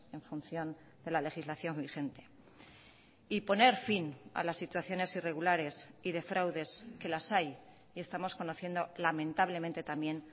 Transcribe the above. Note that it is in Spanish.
en función de la legislación vigente y poner fin a las situaciones irregulares y de fraudes que las hay y estamos conociendo lamentablemente también